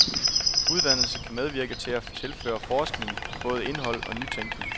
Uddannelse kan medvirke til at tilføre forskningen både indhold og nytænkning.